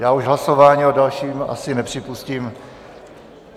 Já už hlasování o dalším asi nepřipustím.